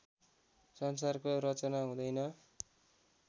संसारको रचना हुँदैन